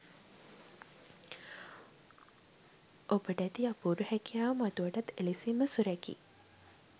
ඔබට ඇති අපූරු හැකියාව මතුවටත් එලෙසින්ම සුරැකී